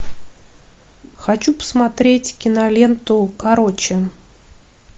хочу посмотреть киноленту короче